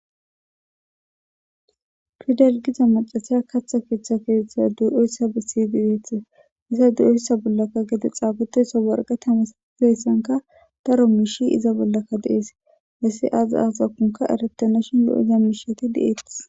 Fidel giza macasiya kaththa keeththa keeshtha du7eyssa bisidigeethe iza du7eyssa bollakka gede xaaboteyso warga tamas keessanka daro miishi iza bollaka dees bessi aza azakunka eretenashin lo7ida miishati de7ettis.